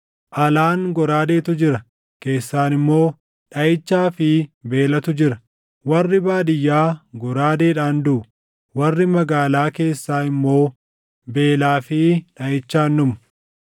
Alaan goraadeetu jira; keessaan immoo dhaʼichaa fi beelatu jira; warri baadiyyaa goraadeedhaan duʼu; warri magaalaa keessaa immoo beelaa fi dhaʼichaan dhumu.